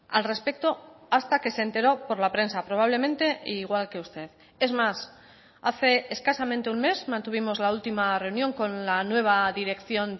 al respecto hasta que se enteró por la prensa probablemente igual que usted es más hace escasamente un mes mantuvimos la última reunión con la nueva dirección